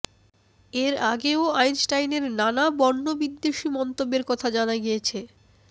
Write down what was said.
এর আগেও আইনস্টাইনের নানা বর্ণবিদ্বেষী মন্তব্যের কথা জানা গিয়েছে